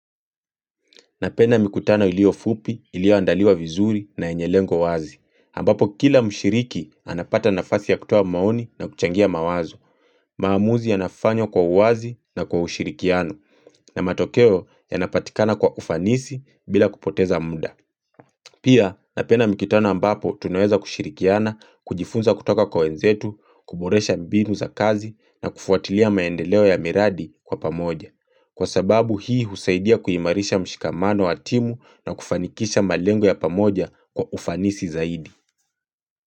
Napenda mikutano ilio fupi ilio andaliwa vizuri na enye lengo wazi ambapo kila mshiriki anapata nafasi ya kutua maoni na kuchangia mawazo maamuzi ya nafanyo kwa uwazi na kwa ushirikiano na matokeo ya napatikana kwa ufanisi bila kupoteza munda Pia napena mikutana ambapo tunoeza kushirikiana kujifunza kutoka kwa wenzetu, kuboresha mbinu za kazi na kufuatilia maendeleo ya miradi kwa pamoja Kwa sababu hii husaidia kuhimarisha mshikamano wa timu na kufanikisha malengo ya pamoja kwa ufanisi zaidi.